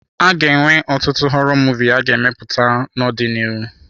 A ga-enwe ọtụtụ họrọ Muvịị a ga-emepụta n'ọdịnihu.